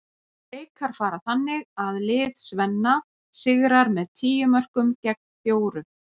Leikar fara þannig að lið Svenna sigrar með tíu mörkum gegn fjórum.